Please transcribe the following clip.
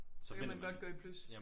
Så kan man godt gå i plus